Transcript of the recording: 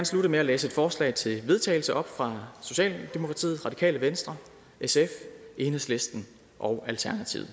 slutte med at læse et forslag til vedtagelse op fra socialdemokratiet det radikale venstre sf enhedslisten og alternativet